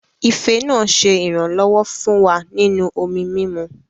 Ife náà ṣe iranlọwọ fún wá nínú omí mímù